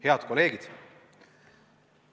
Head kolleegid!